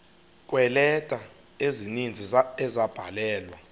kweeleta ezininzi ezabhalelwa